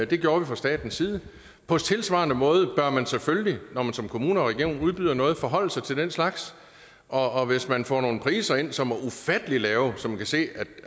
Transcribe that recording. det gjorde vi fra statens side på tilsvarende måde bør man selvfølgelig når man som kommune og region udbyder noget forholde sig til den slags og hvis man får nogle priser ind som er ufattelig lave så man kan se